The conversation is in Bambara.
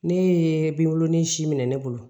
Ne ye bibulon ni si minɛ ne bolo